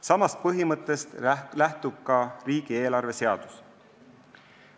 Samast põhimõttest lähtub ka riigieelarve seadus.